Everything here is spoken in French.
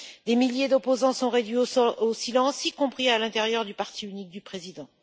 Des milliers d'opposants sont réduits au silence, y compris à l'intérieur du parti unique du président.